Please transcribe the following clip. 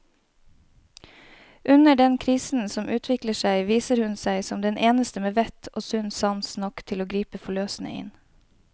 Under den krisen som utvikler seg, viser hun seg som den eneste med vett og sunn sans nok til å gripe forløsende inn.